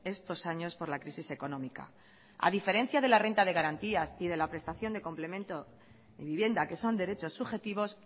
estos años por la crisis económica a diferencia de la renta de garantías y de la prestación de complemento de vivienda que son derechos subjetivos